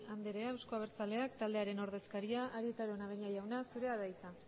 andrea euzko abertzaleak taldearen ordezkaria arieta araunabeña jauna zurea da hitza